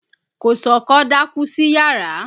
Kòsọ́kọ́ dákú sí yàrá.